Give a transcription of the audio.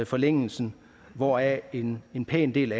forlængelsen hvoraf en en pæn del